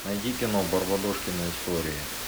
найди кино барбадожкины истории